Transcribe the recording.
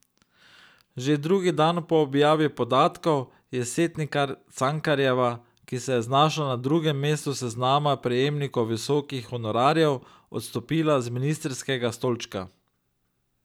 Že drugi dan po objavi podatkov je Setnikar Cankarjeva, ki se je znašla na drugem mestu seznama prejemnikov visokih honorarjev, odstopila z ministrskega stolčka.